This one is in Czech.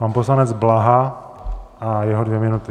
Pan poslanec Blaha a jeho dvě minuty.